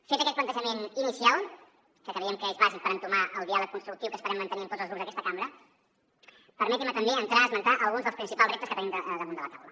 fet aquest plantejament inicial que creiem que és bàsic per entomar el diàleg constructiu que esperem mantenir amb tots els grups d’aquesta cambra permetin me també entrar a esmentar alguns dels principals reptes que tenim damunt la taula